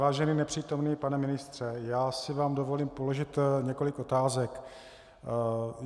Vážený nepřítomný pane ministře, já si vám dovolím položit několik otázek.